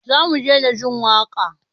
Zamu daina jin waka?